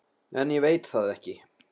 En ég veit það ekki.